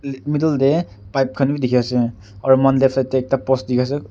middle deh pipe khan wi dikhi ase aru muihan left side teh post dikhi ase.